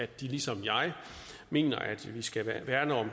de ligesom jeg mener at vi skal værne om